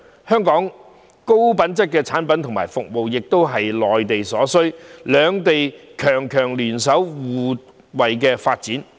香港的高品質產品和服務，亦是內地所需，兩地強強聯手，可互惠發展。